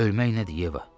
Ölmək nədir, Yeva?